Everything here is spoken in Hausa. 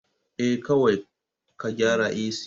Eh, kawai ka gyara AC